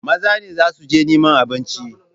Maza ne za su je neman abinci.